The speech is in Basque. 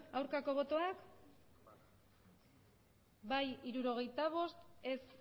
abstenzioak emandako botoak hirurogeita hamabost bai hirurogeita bost ez